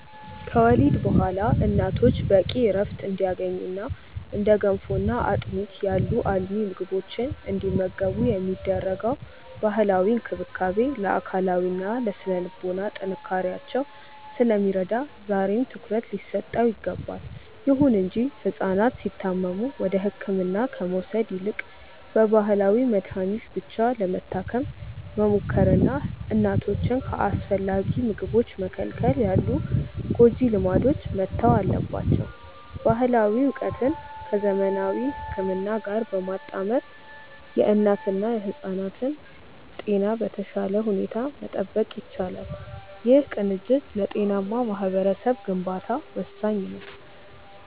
ከወሊድ በኋላ እናቶች በቂ ዕረፍት እንዲያገኙና እንደ ገንፎና አጥሚት ያሉ አልሚ ምግቦችን እንዲመገቡ የሚደረገው ባህላዊ እንክብካቤ ለአካላዊና ለሥነ-ልቦና ጥንካሬያቸው ስለሚረዳ ዛሬም ትኩረት ሊሰጠው ይገባል። ይሁን እንጂ ሕፃናት ሲታመሙ ወደ ሕክምና ከመውሰድ ይልቅ በባህላዊ መድኃኒት ብቻ ለመታከም መሞከርና እናቶችን ከአስፈላጊ ምግቦች መከልከል ያሉ ጎጂ ልማዶች መተው አለባቸው። ባህላዊ ዕውቀትን ከዘመናዊ ሕክምና ጋር በማጣመር የእናትና የሕፃናትን ጤና በተሻለ ሁኔታ መጠበቅ ይቻላል። ይህ ቅንጅት ለጤናማ ማኅበረሰብ ግንባታ ወሳኝ ነው።